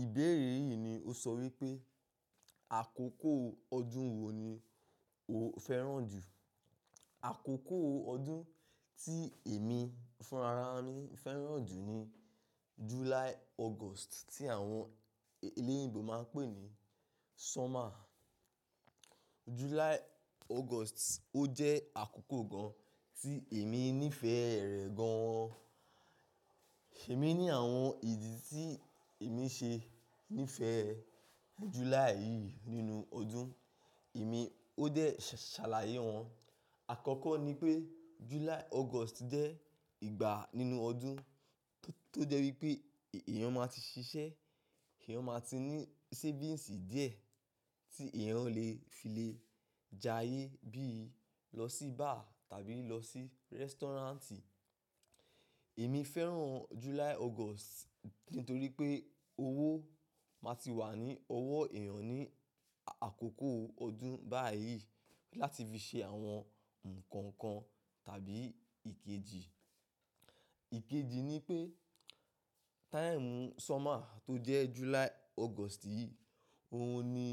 Ìbéèrè yìí ni o sọ wípé, àkókò ọdún wo ni o fẹ́ràn jù? Àkókò ọdún tí èmi fún ara mi fẹ́ràn jù ni July/August tí àwọn olóyìnbò máa ń pè ní summer. July/August ó jẹ́ àkókò gan tí èmi nífẹ̀ẹ́ rẹ̀ gan an. Èmi ní àwọn ìdí tí èmi ṣe nífẹ̀ẹ́ July yìí nínú ọdún, èmi ó dẹ̀ ṣàlàyé wọn. Àkọ́kọ́ ni pé July/August jẹ́ ìgbà nínú ọdún tó jẹ́ wípé èèyàn máa ti ṣiṣẹ́, èèyàn máa ti ní savings díẹ̀ tí èèyàn lè fi le jayé bí i lọ sí bar tàbí lọ sí restaurant. Èmi fẹ́ràn July/August nítorí pé owó máa ti wà ní ọwọ́ èèyàn ní àkókò ọdún báyìí láti fi ṣe àwọn nǹkan kan tàbí ìkejì. Ìkejì ni pé time summer tó jẹ́ July/August yìí, òun ni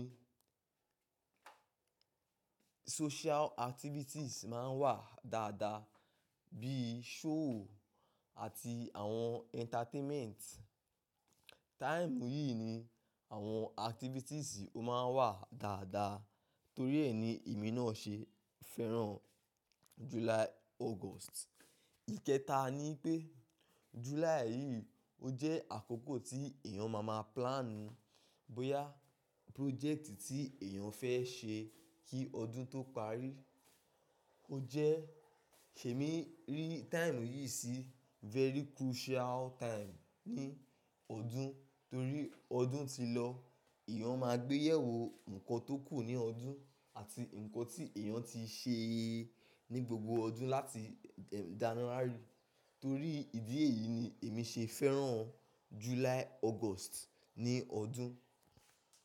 social activities máa ń wà dáadáa bí i show àti àwọn entertainment. Time yìí ni àwọn activities ó máa ń wà dáadáa torí ẹ ni èmi náà ṣe fẹ́ràn July/August. Ìkẹta ni pé July yìí ó jẹ́ àkókò tí èèyàn máa máa plan bóyá project tí èèyàn fẹ́ ṣe kí ọdún tó parí. Ó jẹ́-- èmi rí time yìí sí very crucial time ní ọdún torí ọdún ti lọ èèyàn máa gbé yẹ̀wò nǹkan tó kù ní ọdún àti nǹkan tí èèyàn ti ṣe ní gbogbo ọdún láti January. Torí ìdí èyí ni èmi ṣe fẹ́ràn July/August ní ọdún.